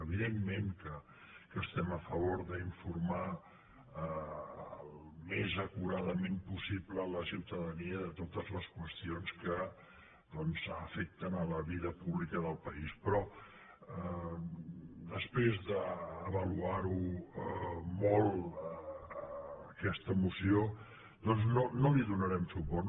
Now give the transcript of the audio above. evidentment que estem a favor d’informar al més acuradament possible la ciutadania de totes les qüestions que doncs afecten la vida pública del país però després d’avaluar molt aquesta moció no li donarem suport